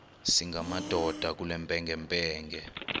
singamadoda kule mpengempenge